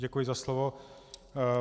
Děkuji za slovo.